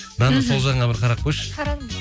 дана сол жағыңа бір қарап қойшы